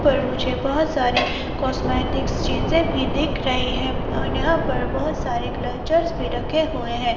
पर मुझे बहोत सारी कॉस्मेटिक चीजे भी दिख रही है और यहां पर बहोत सारे कल्चर्स में रखे हुए हैं।